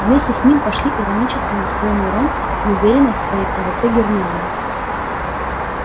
вместе с ним пошли иронически настроенный рон и уверенная в своей правоте гермиона